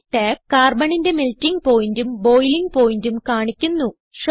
ഈ ടാബ് Carbonന്റെ മെൽട്ടിങ് Pointഉം ബോയിലിംഗ് pointഉം കാണിക്കുന്നു